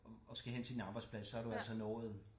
Og skal hen til din arbejdsplads så har du altså nået